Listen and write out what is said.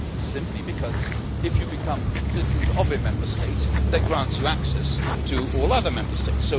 Simply because, if you become a citizen of one Member State that grants you access to all the other Member States.